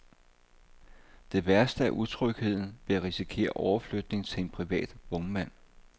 Det værste er utrygheden ved at risikere overflytning til en privat vognmand.